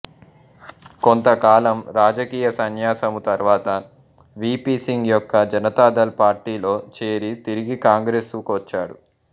కొంతకాలం రాజకీయ సన్యాసము తరువాత వీ పీ సింగ్ యొక్క జనతా దళ్ పార్టీలో చేరి తిరిగి కాంగ్రేసు కొచ్చాడు